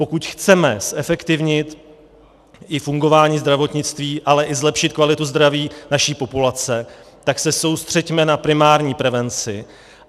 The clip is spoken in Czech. Pokud chceme zefektivnit i fungování zdravotnictví, ale i zlepšit kvalitu zdraví naší populace, tak se soustřeďme na primární prevenci.